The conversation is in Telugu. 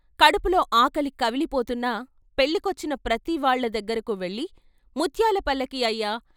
కడుపులో ఆకలి కవిలిపోతున్నా పెళ్ళికొచ్చిన ప్రతివాళ్ళ దగ్గరకు వెళ్ళి " ముత్యాలపల్లకీ అయ్యా!